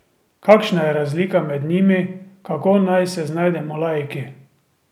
Kakšna je razlika med njimi, kako naj se znajdemo laiki?